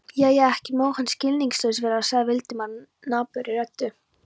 Jæja, ekki má hann skilningslaus vera sagði Valdimar napurri röddu.